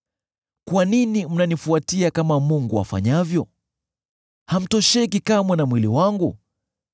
Kwa nini mnanifuatia kama Mungu afanyavyo? Hamtosheki kamwe na mwili wangu?